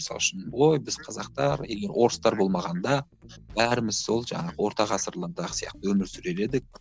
мысалы үшін ой біз қазақтар егер орыстар болмағанда бәріміз сол жаңағы орта ғасырлы сияқты өмір сүрер едік